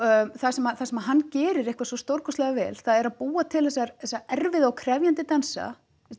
það sem það sem hann gerir eitthvað svo stórkostlega vel það er að búa til þessar erfiðu og krefjandi dansa